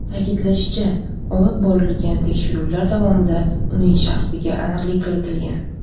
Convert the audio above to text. Ta’kidlanishicha, olib borilgan tekshiruvlar davomida ularning shaxsiga aniqlik kiritilgan .